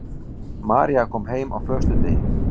María kom heim á föstudegi.